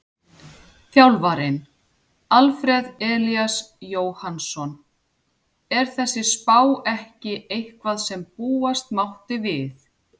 Þjálfarinn: Alfreð Elías Jóhannsson Er þessi spá ekki eitthvað sem búast mátti við?